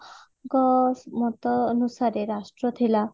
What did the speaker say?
ଙ୍କ ମତ ଅନୁସାରେ ରାଷ୍ଟ୍ର ଥିଲା